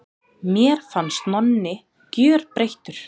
Mér fannst Nonni gjörbreyttur.